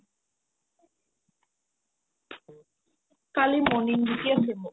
কালি morning duty আছে মোৰ